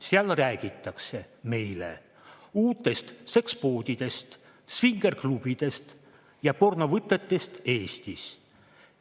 Seal räägitakse meile uutest sekspoodidest, svingerklubidest ja pornovõtetest Eestis.